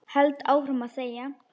Held áfram að þegja.